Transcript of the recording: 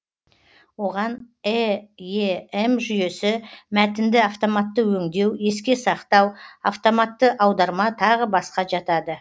оған эем жүйесі мәтінді автоматты өндеу еске сақтау автоматты аударма тағы басқа жатады